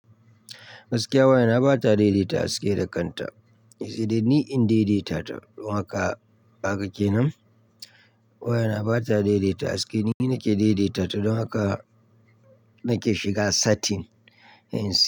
Gaskiya wayana bata daidaita haske da kanta, sai dai ni in daidaita ta don haka ba ka kenan. Wayana ba ta daidaita haske, ni nake daidaita ta don haka nake shiga setting,